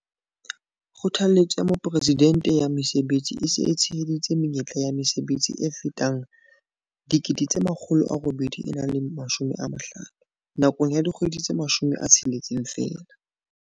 Kgothaletso ya Mopresidente ya Mesebetsi PES e se e tsheheditse menyetla ya mesebetsi e fetang 850 000 nakong ya dikgwedi tse 16 feela.